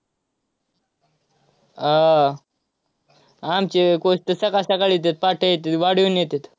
आह आमचे coach तर सकाळ~ सकाळीच येत, पहाटे येत, वाडीहून येतात.